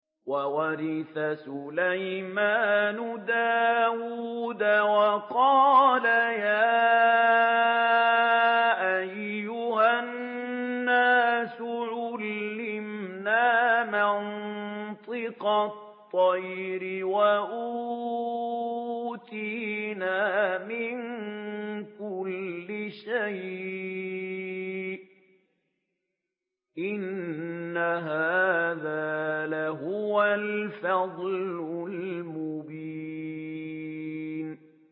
وَوَرِثَ سُلَيْمَانُ دَاوُودَ ۖ وَقَالَ يَا أَيُّهَا النَّاسُ عُلِّمْنَا مَنطِقَ الطَّيْرِ وَأُوتِينَا مِن كُلِّ شَيْءٍ ۖ إِنَّ هَٰذَا لَهُوَ الْفَضْلُ الْمُبِينُ